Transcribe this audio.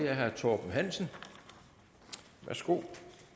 er herre torben hansen værsgo